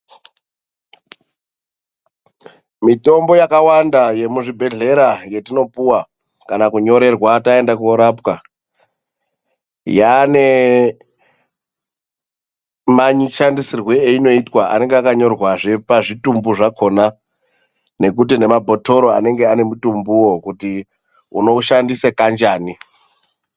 Mitombo yakawanda yemuzvibhedhlera yetinopuwa kana kunyorerwa taenda korapwa, yaane mashandisirwe einoitwa, anenge akanyorwazve pazvitumbu zvakona nekuti nemabhotoro anenge ane mutumbuwo kuti unoushandise kanjani.